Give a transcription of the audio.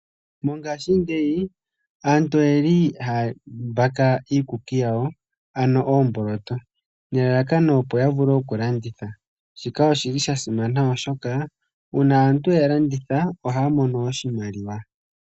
Mongaashingeyi aantu oyeli haya mbaka iikuki yawo ano oomboloto, nelalakano opo ya vule okulanditha, shika oshili sha simana oshoka, uuna aantu ya landitha ohaya mono oshimaliwa.